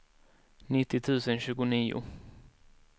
nittio tusen tjugonio